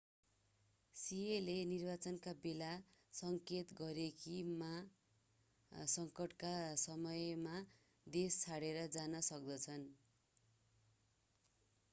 सिएले निर्वाचनका बेला सङ्केत गरे कि मा सङ्कटका समयमा देश छोडेर जान सक्दछन्